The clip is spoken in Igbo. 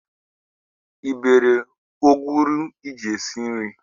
Ị bere ọkwụrụ iji esi nri?